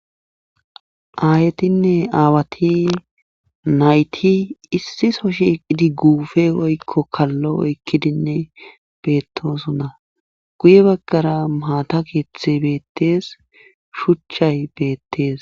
Aayetinne aawati nayti issi so shiiqidi guufe woykko kallo oykkidinne beettoosona guye baggara maata keethey beetees shuchay beettees.